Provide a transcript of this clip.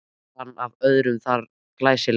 Bar hann af öðrum þar að glæsileik.